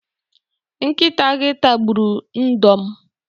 Nkịta gị tagburu ndo m.